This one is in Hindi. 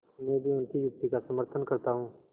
मैं भी उनकी युक्ति का समर्थन करता हूँ